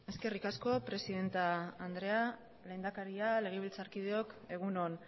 eskerrik asko presidente andrea lehendakari legebiltzarkideok egunon